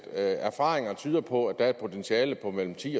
erfaringer tyder på at der er et potentiale på mellem ti